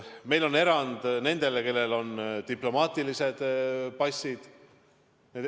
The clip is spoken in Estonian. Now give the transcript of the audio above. Meil on erand nendele, kellel on diplomaatilised passid.